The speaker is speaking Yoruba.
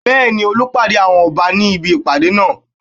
Bẹ́ẹ̀ni, Olú pàdé àwọn Ọba ní ibi ìpàdé náà